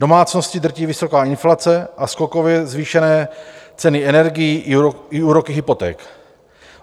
Domácnosti drtí vysoká inflace a skokově zvýšené ceny energií i úroky hypoték.